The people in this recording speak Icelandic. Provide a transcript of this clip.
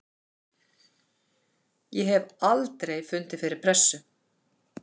Ég hef aldrei fundið fyrir pressu.